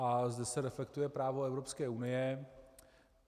A zde se reflektuje právo Evropské unie.